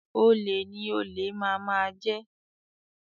Olè ni olè máa máa jẹ